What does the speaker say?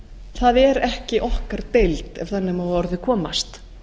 það er ekki okkar deild ef þannig má að orði komast